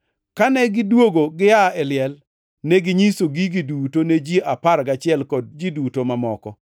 Kane gidwogo giaa e liel, neginyiso gigi duto ne ji apar gachiel kod ji duto mamoko.